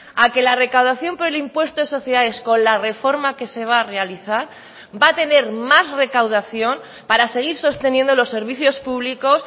a que la recaudación por el impuesto de sociedades con la reforma que se va a realizar va a tener más recaudación para seguir sosteniendo los servicios públicos